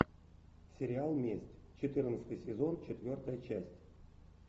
сериал месть четырнадцатый сезон четвертая часть